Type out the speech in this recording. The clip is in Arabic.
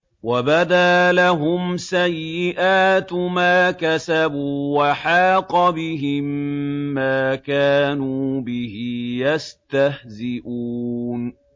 وَبَدَا لَهُمْ سَيِّئَاتُ مَا كَسَبُوا وَحَاقَ بِهِم مَّا كَانُوا بِهِ يَسْتَهْزِئُونَ